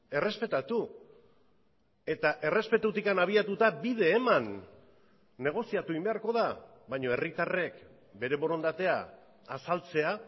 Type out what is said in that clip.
errespetatu eta errespetutik abiatuta bide eman negoziatu egin beharko da baina herritarrek bere borondatea azaltzea